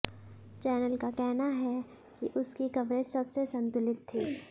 channel का कहना है कि उसकी कवरेज सबसे संतुलित थी